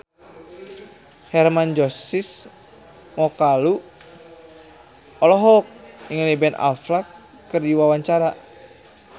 Hermann Josis Mokalu olohok ningali Ben Affleck keur diwawancara